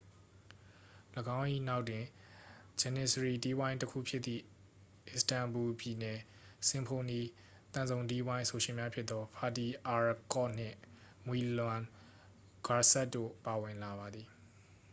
၎င်း၏နောက်တွင် ဂျနစ္စရီတီးဝိုင်းတစ်ခုဖြစ်သည့် အစ္စတန်ဘူ ပြည်နယ် စင်ဖိုနီ သံစုံတီးဝိုင်း အဆိုရှင်များဖြစ်သော ဖာတီ အာရ်ကော့ နှင့် မွီလွမ် ဂွာဆက်စ် တို့က ဝင်လာပါသည်